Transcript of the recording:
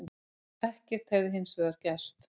Ekkert hefði hins vegar gerst